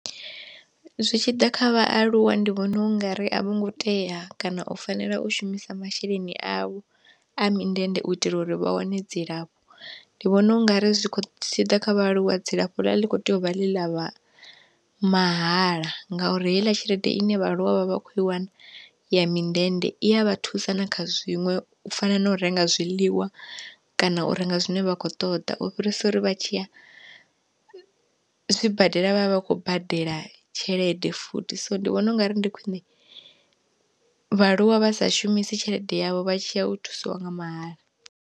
Zwi tshi ḓa kha vhaaluwa ndi vhona ungari a vho ngo tea kana u fanela u shumisa masheleni avho a mindende u itela uri vha wane dzilafho, ndi vhona ungari zwi tshi ḓa kha vhaaluwa dzilafho ḽa ḽi kho tea u vha ḽi ḽa vha mahala ngauri heiḽa tshelede ine vhaaluwa vha vha kho i wana ya mindende, i a vha thusa na kha zwiṅwe u fana na u renga zwiḽiwa kana u renga zwine vha kho ṱoḓa u fhirisa uri vha tshi tshiya zwibadela vhavha vha khou badela tshelede futhi. So ndi vhona ungari ndi khwiṋe vhaaluwa vha sa shumisi tshelede yavho vha tshiya u thusiwa nga mahala.